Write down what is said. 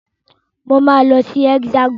Mo máa lọ sí Hexagon.